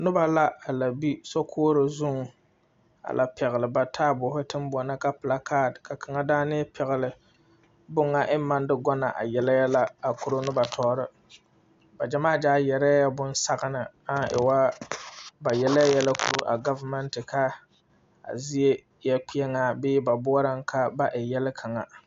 Noba la a la be sokoɔrɔ zuŋ a lɛ pɛgle ba taaboore teŋ boɔha ka plakaat ka kaŋa daani pɛgle bonŋa eŋ maŋ de gɔnna a yele yɛlɛ a koro noba tɔɔre ba gyamaa gyaa yɛrɛɛ bonsagna a e woo ba yelee yɛlɛ koro a gobenente ka a zie eɛ kpeɛŋaa bee ba boɔraŋ ka ba e yrle kaŋa.